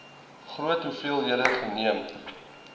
groot hoeveelhede geneem